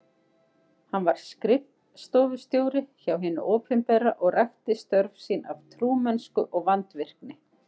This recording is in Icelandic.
Hann var skrif- stofustjóri hjá hinu opinbera og rækti störf sín af trúmennsku og vandvirkni.